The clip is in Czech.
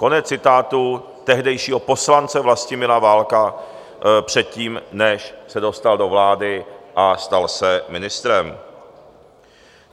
Konec citátu tehdejšího poslance Vlastimila Válka předtím, než se dostal do vlády a stal se ministrem.